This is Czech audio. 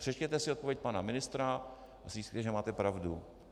Přečtěte si odpověď pana ministra a zjistíte, že máte pravdu.